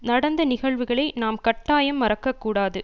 நடந்த நிகழ்வுகளை நாம் கட்டாயம் மறக்கக் கூடாது